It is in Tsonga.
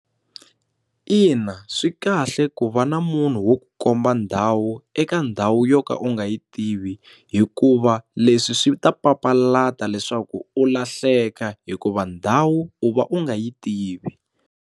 Ina, swi kahle ku va na munhu wo ku komba ndhawu eka ndhawu yo ka u nga yi tivi hikuva leswi swi ta papalata leswaku u lahleka hikuva ndhawu u va u nga yi tivi.